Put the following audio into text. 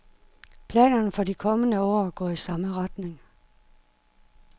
Planerne for de kommende år går i samme retning.